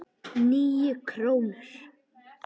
Níu krónur?